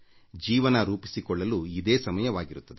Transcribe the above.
ಜೀವನ ರೂಪಿಸಿಕೊಳ್ಳಲು ಇದೇ ಸಮಯವಾಗಿರುತ್ತದೆ